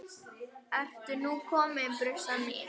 Ertu nú komin, brussan mín?